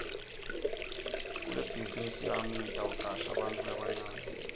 kulebhazinisi yami ngitawucasha bantfu labancane